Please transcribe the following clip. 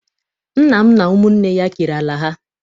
Nna m na ụmụnne ya kere ala ha.